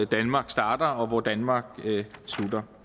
danmark starter og hvor danmark slutter